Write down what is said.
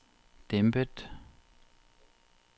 dæmpet